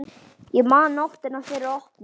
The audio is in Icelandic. Ég man nóttina fyrir opnun.